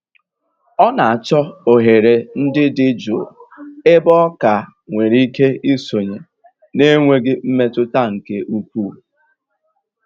Ọ na-àchọ́ òghèrè ndí dị́ jụ́ụ́ ébè ọ ka nwèrè ìké ìsònyè na-ènwèghị́ mmètụ́tà nkè ùkwuù.